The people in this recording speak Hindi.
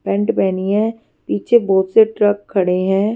पेंट पहनी है पीछे बहुत से ट्रक खड़े हैं।